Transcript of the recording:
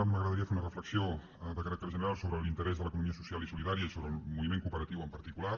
m’agradaria fer una reflexió de caràcter general sobre l’interès de l’economia social i solidària i sobre el moviment cooperatiu en particular